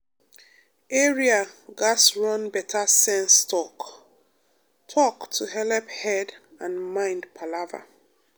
area gatz run better sense talk-talk to helep head and mind palava